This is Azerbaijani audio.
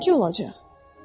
Mənimki olacaq.